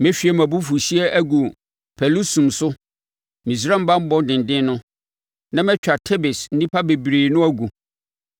Mehwie mʼabufuhyeɛ agu Pɛlusum so Misraim banbɔ denden no, na matwa Tebes nnipa bebrebe no agu.